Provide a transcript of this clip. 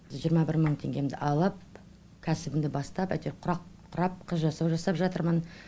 жиырма бір мың теңгемді алып кәсібімді бастап әйтеуір құрақ құрап қыз жасау жасап жатырмын